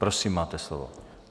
Prosím, máte slovo.